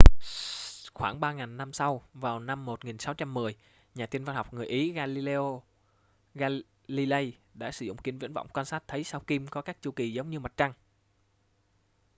khoảng ba ngàn năm sau vào năm 1610 nhà thiên văn học người ý galileo galilei đã sử dụng kính viễn vọng quan sát thấy sao kim có các chu kỳ giống như mặt trăng